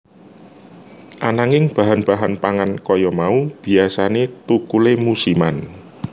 Ananging bahan bahan pangan kaya mau biyasané thukulé musiman